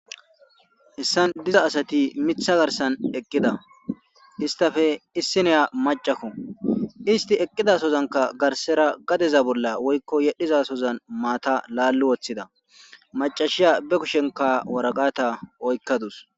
Issan diza asati mitha garsan eqqida istafe issineya macakko isti eqqidasozanka garsera gadeza bolla woyiko yedhizasozan maata laallu wothida macashiya be kushenka waragata oykadus